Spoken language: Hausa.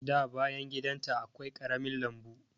Da bayan gidan ta akwai ƙarami lambu.